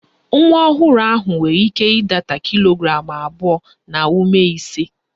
Nwa ọhụrụ nwere ike ịdata kilo gramụ abụọ na ụma ise